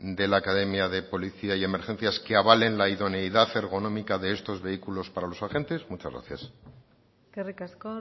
de la academia de policía y emergencias que avalen la idoneidad ergonómica de estos vehículos para los agentes muchas gracias eskerrik asko